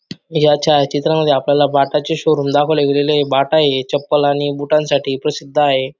या छाया चित्रामध्ये आपल्याला बाटा चे शोरूम दाखवले गेलेलय बाटा हे चप्पल आणि बुटांसाठी प्रसिद्ध आहे.